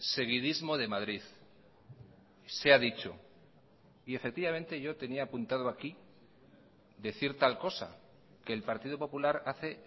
seguidismo de madrid se ha dicho y efectivamente yo tenía apuntado aquí decir tal cosa que el partido popular hace